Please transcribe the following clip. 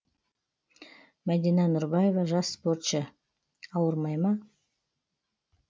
мәдина нұрбаева жас спортшы ауырмай ма